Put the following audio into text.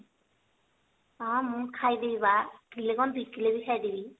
ହଁ ମୁଁ ଖାଇଦେବି ବା କିଲେ କଣ ଦି କିଲେ ବି ଖାଇଦେବି